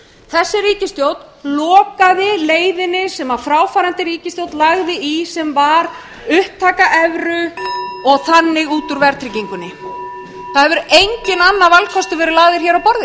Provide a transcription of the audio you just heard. þessi ríkisstjórn lokaði leiðinni sem fráfarandi ríkisstjórn lagði í sem var upptaka evru og þannig út úr verðtryggingunni það hefur enginn